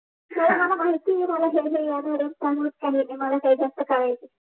मला माहिती आहे ह्या ह्या धाल्याच आठवत नाही